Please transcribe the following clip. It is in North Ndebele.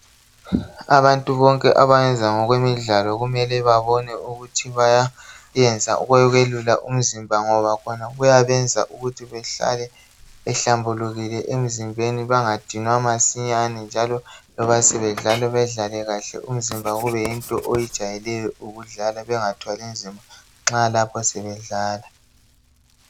Abantu bonke abayenza ngokwemidlalo kumele babone ukuthi bayayenza okokwelula umzimba ngoba khona kuyabenza ukuthi behlale behlambulukile emzimbeni bangadinwa masinyane njalo loba sebedlala bedlale kahle umzimba kube yinto oyijayeleyo ukudlala bengathwali nzima nxa lapho sebedlala .